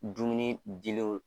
Dumuni dilenw